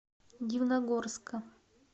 дивногорска